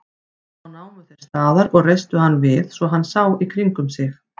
Þá námu þeir staðar og reistu hann við svo hann sá í kringum sig.